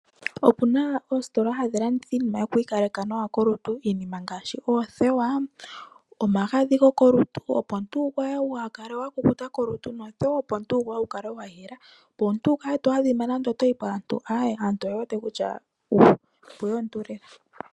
Opuna oositola hadhi landitha iinima yokwiikaleka nawa kolutu. Iinima ngaashi oothewa, omagadhi gokolutu opo omuntu wugwaye waakale wakukuta kolutu nothewa wukale wayela opo omuntu wukale to adhima, nande otoyi paantu aantu oyewete kutya opweya omuntu lela.